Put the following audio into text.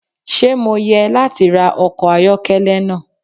Ṣe Mo yẹ lati ra ọkọ ayọkẹlẹ naa?